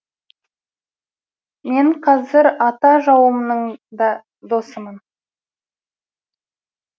мен қазір ата жауымның да досымын